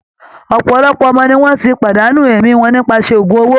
Òpòlopò ọmọ ni wọ́n ti pàdánù ẹ̀mí wọn nípasẹ̀ ògún owó